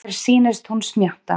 Mér sýnist hún smjatta.